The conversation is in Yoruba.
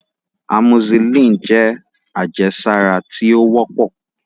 Amoxicillin jẹ́ àjẹsára tí ó wọ́pọ̀